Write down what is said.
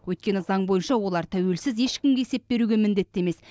өйткені заң бойынша олар тәуелсіз ешкімге есеп беруге міндетті емес